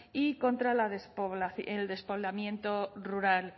y contra el despoblamiento rural